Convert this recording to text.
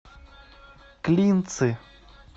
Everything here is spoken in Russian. клинцы